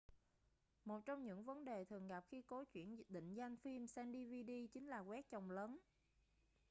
một trong những vấn đề thường gặp khi cố chuyển định danh phim sang dvd chính là quét chồng lấn